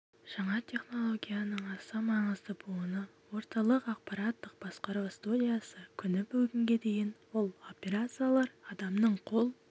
жаңа технологияның аса маңызды буыны орталық аппараттық басқару студиясы күні бүгінге дейін ол операциялар адамның қол